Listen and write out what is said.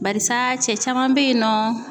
Barisa cɛ caman be yen nɔ